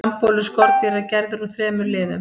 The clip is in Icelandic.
frambolur skordýra er gerður úr þremur liðum